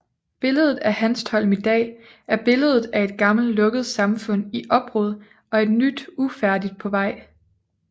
Billedet af Hanstholm i dag er billedet af et gammelt lukket samfund i opbrud og et nyt ufærdigt på vej